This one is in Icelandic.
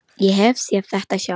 Ég hef séð þetta sjálf.